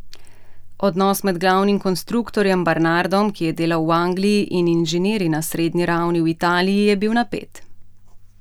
Odnos med glavnim konstruktorjem Barnardom, ki je delal v Angliji, in inženirji na srednji ravni v Italiji je bil napet.